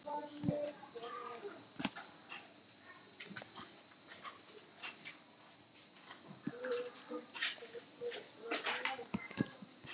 Lára: Hvað meinarðu með því?